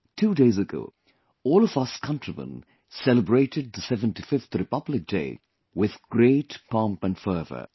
Two days ago, all of us countrymen celebrated the 75th Republic Day with great pomp and fervour